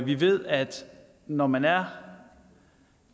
vi ved at når man er